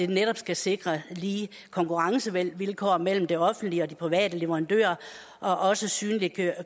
netop at sikre lige konkurrencevilkår mellem de offentlige og de private leverandører og også synliggøre